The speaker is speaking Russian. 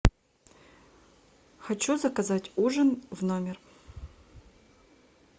хочу заказать ужин в номер